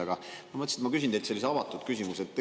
Aga ma mõtlesin, ma küsin teilt sellise avatud küsimuse.